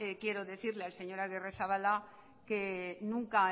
quiero decirle al señor agirrezabala que nunca